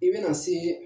I bɛna se